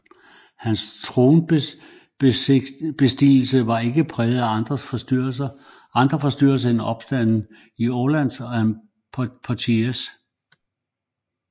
Hans tronbestigelse var ikke præget af andre forstyrrelser end opstande i Orléans og Poitiers